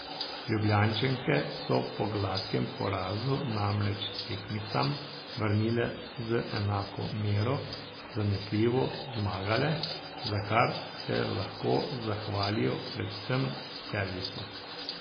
Ljubljančanke so po gladkem porazu namreč tekmicam vrnile z enako mero, zanesljivo zmagale, za kar se lahko zahvalijo predvsem servisu.